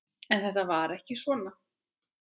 En þetta var ekki svona.